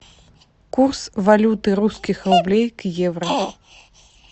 курс валюты русских рублей к евро